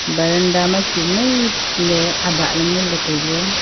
baranda ma chu mei ley aba ley ngan ley tailey.